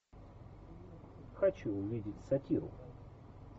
хочу увидеть сатиру